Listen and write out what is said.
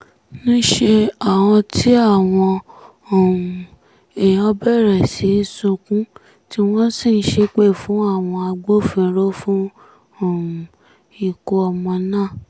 níṣẹ́ ni àwọn um èèyàn bẹ̀rẹ̀ sí í sunkún tí wọ́n sì ń ṣépè fún àwọn agbófinró fún um ikú ọmọ náà